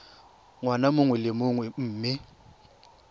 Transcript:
ngwaga mongwe le mongwe mme